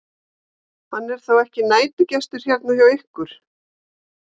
Hann er þá ekki næturgestur hérna hjá ykkur?